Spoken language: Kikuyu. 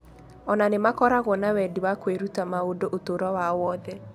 O na nĩ makoragwo na wendi wa kwĩruta maũndũ ũtũũro wao wothe.